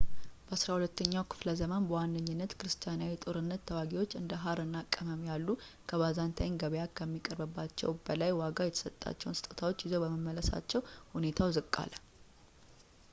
በዐሥራ ሁለተኛው ክፍለ ዘመን በዋነኝነት ክርስቲያናዊ ጦርነት ተዋጊዎች እንደ ሃር እና ቅመም ያሉ ከባይዛንታይን ገበያ ከሚያቀርባቸው በላይ ዋጋ የተሰጣቸው ስጦታዎችን ይዘው በመመለሳቸው ሁኔታው ዝቅ አለ